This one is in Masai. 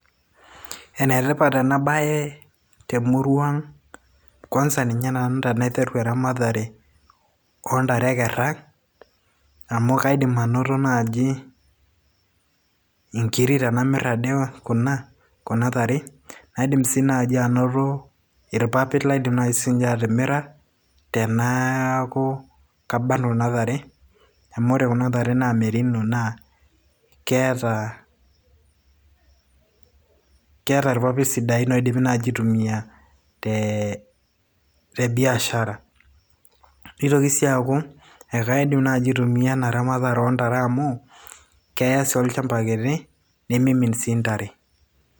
ene tipat ena bae te murua ang'. kwanza ninye tenaiteru nanu eramatere oo ntare e kera amu kaidim anoto naaji nkiri tenamir ade kuna tare, naidim sii anoto irpapit naaji laidim atimira, teneeku kabarn kuna tare. amu ore kuna tare naa merino ,naa keeta irpapit sidain naa kitumiae te biashara, naa keya sii ntare ekera olchampa kiti nimimin sii kuna tare.